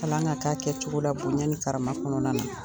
Kalan ŋa k'a kɛcogo la bonya ni karama kɔnɔna na.